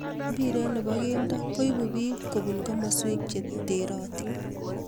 Mpiret ne bo kelto koibuu biik kobunu komoswek che terotin.